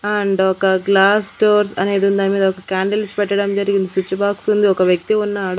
And ఒక glass doors అనేదుంది దాని మీద ఒక క్యాండిల్స్ పెట్టడం జరిగింది స్విచ్ బాక్స్ ఉంది ఒక వ్యక్తి ఉన్నాడు.